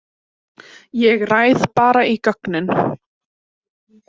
Ég ræð bara í gögnin.